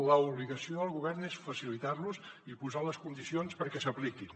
l’obligació del govern és facilitar los i posar les condicions perquè s’apliquin